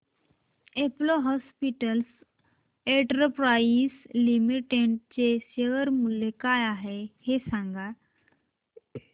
Apollo Hospitals Enterprise Limited चे share मूल्य काय आहे सांगा